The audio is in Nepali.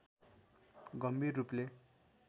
गम्भीर रूपले